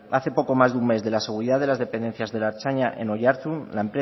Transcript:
hace poco más de un mes de la seguridad de las dependencias de la ertzaina en oiartzun